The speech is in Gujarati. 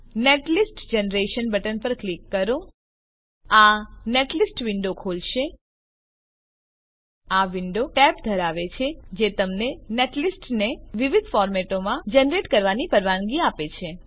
નેટલિસ્ટ જનરેશન બટન પર ક્લિક કરો આ નેટલિસ્ટ વિન્ડો ખોલશે આ વિન્ડો ટેબ ધરાવે છે જે તમને નેટલિસ્ટ ને વિવિધ ફોર્મેટોમાં જનરેટ કરવાની પરવાનગી આપે છે